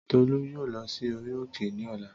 Tọlú yóò lọ sí orí òkè ní ọlá